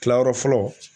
Kilayɔrɔ fɔlɔ